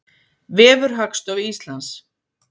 Vefur Hagstofu Íslands.